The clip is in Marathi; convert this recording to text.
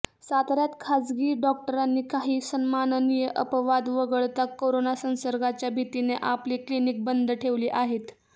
साताऱ्यात खासगी डॉक्टरांनी काही सन्माननीय अपवाद वगळता करोना संसर्गाच्या भीतीने आपली क्लिनिक बंद ठेवली आहेत